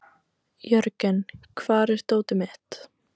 Jörgen, hvar er dótið mitt?